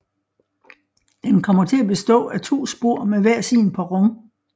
Den kommer til at bestå af to spor med hver sin perron